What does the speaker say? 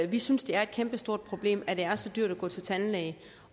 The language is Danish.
vi synes det er et kæmpestort problem at det er så dyrt at gå til tandlæge